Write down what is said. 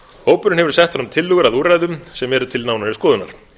hópurinn hefur sett fram tillögur að úrræðum sem eru til nánari skoðunar